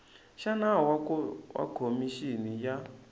xa nawu wa khomixini ya